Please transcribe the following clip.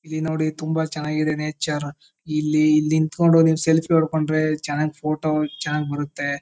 ಇಲ್ಲಿ ನೋಡಿ ತುಂಬಾ ಚನ್ನಾಗ್ ಇದೆ ನೇಚರ್. ಇಲ್ಲಿ ನಿತ್ಕೊಂಡು ನೀವು ಸೆಲ್ಫಿ ಹೊಡ್ಕೊಂಡ್ರೆ ಚನ್ನಾಗ್ ಫೋಟೋ ಚನ್ನಾಗ್ ಬರುತ್ತೆ.